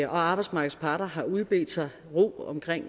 og arbejdsmarkedets parter har udbedt sig ro omkring